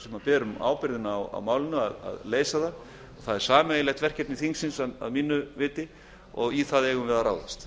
berum ábyrgðina á málinu að leysa það það er sameiginlegt verkefni þingsins að mínu viti og í það eigum við að ráðast